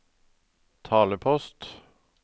talepost